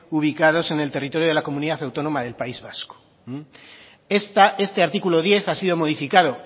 ubicados en el territorio de la comunidad autónoma del país vasco este artículo diez ha sido modificado